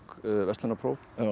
verslunarpróf